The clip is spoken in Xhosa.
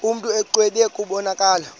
mntu exwebile kubonakala